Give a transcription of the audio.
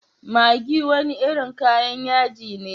Maggi wani irin kayan yaji ne.